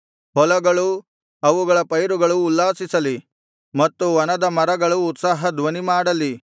ಹೊಲಗಳೂ ಅವುಗಳ ಪೈರುಗಳೂ ಉಲ್ಲಾಸಿಸಲಿ ಮತ್ತು ವನದ ಮರಗಳು ಉತ್ಸಾಹ ಧ್ವನಿ ಮಾಡಲಿ